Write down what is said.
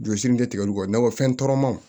Joli si min tɛ tigɛ olu kɔ nakɔfɛnw